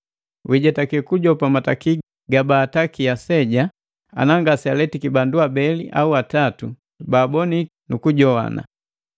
Wijetake kujopa mataki gabaataki aseja ana ngasegaletiki bandu abeli au atatu baaboniki nu kujoana.